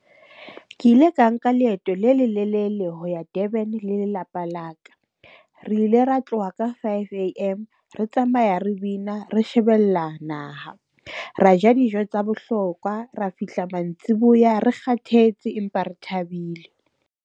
Ke ile ka nka leeto le lelelele ho ya Durban le lelapa la ka. Re ile ra tloha ka five a_m re tsamaya re bina re shebella naha. Ra ja dijo tsa bohlokwa. Ra fihla mantsiboya, re kgathetse empa re thabile.